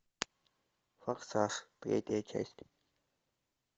форсаж третья часть